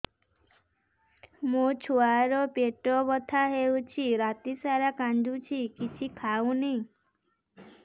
ମୋ ଛୁଆ ର ପେଟ ବଥା ହଉଚି ରାତିସାରା କାନ୍ଦୁଚି କିଛି ଖାଉନି